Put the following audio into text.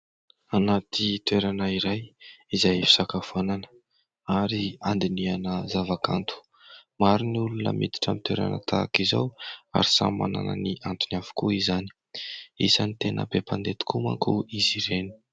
Anaty toerana iray, izay fisakafoanana ary andinihana zava-kanto. Maro ny olona miditra amin'ny toerana tahaka izao, ary samy manana ny antony avokoa izany. Isany tena be mpandeha tokoa manko izy ireny.